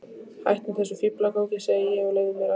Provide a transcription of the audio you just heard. Hættu þessum fíflagangi, segi ég, og leyfðu mér að.